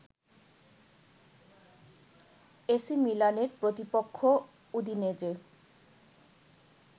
AC মিলানের প্রতিপক্ষ উদিনেজে